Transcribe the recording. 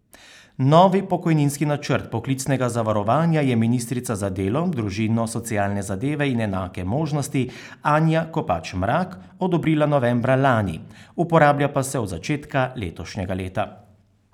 Novi pokojninski načrt poklicnega zavarovanja je ministrica za delo, družino, socialne zadeve in enake možnosti Anja Kopač Mrak odobrila novembra lani, uporablja pa se od začetka letošnjega leta.